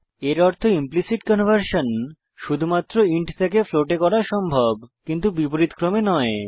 এর অর্থ implicit conversion শুধুমাত্র ইন্ট থেকে ফ্লোট এ করা সম্ভব কিন্তু বিপরীতক্রমে নয়